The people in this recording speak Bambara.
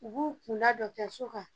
U b'u kun da dɔgɔtɔriso kan.